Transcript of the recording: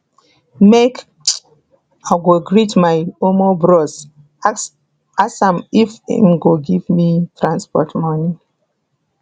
make um i go greet my um bros ask am if im go give me transport moni